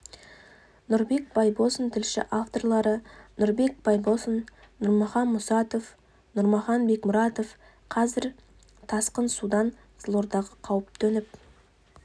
нұрбек байбосын тілші авторлары нұрбек байбосын нұрмахан мұсатов нұрмахан бекмұратов қазір тасқын судан қызылордаға қауіп төніп